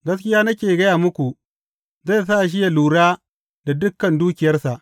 Gaskiya nake gaya muku, zai sa shi yă lura da dukan dukiyarsa.